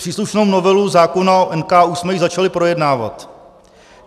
Příslušnou novelu zákona o NKÚ jsme již začali projednávat.